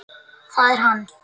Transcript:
Það er hann.